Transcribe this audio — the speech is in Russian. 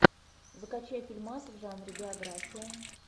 закачай фильмас в жанре биография